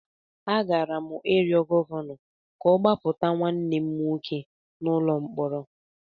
Agara m ịrịọ Gọvanọ ka ọ gbapụta nwanne m nwoke n’ụlọ mkpọrọ.